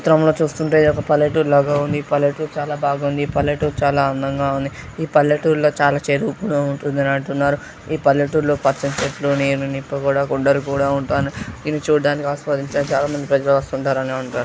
ఈ చిత్రం లో చూస్తుంటే ఒక పల్లెటూరు లా గా ఉంది. ఈ పల్లెటూరు చాలా బాగుంది ఈ పల్లెటూరు చాలా అందంగా ఉంది. ఈ పల్లెటూరులో చాలా చే ఉప్పు గా ఉంటుందంటున్నారు. ఈ పల్లెటూరు లో పచ్చని చెట్లు నీరు నిప్పు కూడా ఉంటా ఇది చూడానికి ఆస్వాదించడానికి చాలా మంది ప్రజలు వస్తుంటారు అని అంటారు.